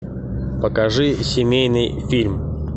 покажи семейный фильм